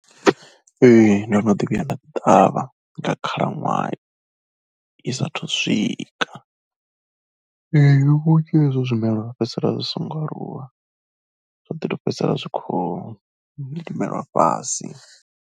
Ee ndo no ḓi vhuya nda ṱavha nga khalaṅwaha i saathu u swika, ee vhunzhi ha izwo zwimelwa zwa fhedzisela zwi songo aluwa zwa ḓi tou fhedzisela zwi khou limelwa fhasi.